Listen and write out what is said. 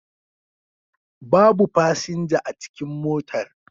Babu fasinja a cikin motar